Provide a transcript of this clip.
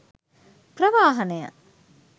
ප්‍රවාහනය